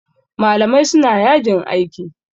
Malamai suna yajin aiki.